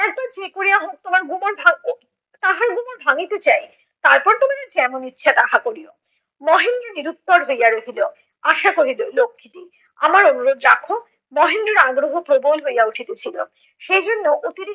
কোমর ভাঙ্গিতে চাই। তারপর তোমার যেমন ইচ্ছা তাহা করিও। মহেন্দ্র নিরুত্তর হইয়া রহিল। আশা কহিল লক্ষ্মীটি, আমার অনুরোধ রাখ। মহেন্দ্রর আগ্রহ প্রবল হইয়া উঠিতেছিল, সেই জন্য অতি